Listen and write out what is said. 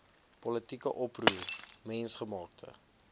politieke oproer mensgemaakte